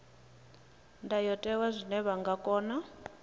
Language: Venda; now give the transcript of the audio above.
ndayotewa zwine vha nga kona